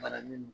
Balanen do